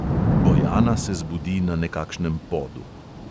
Bojana se zbudi na nekakšnem podu.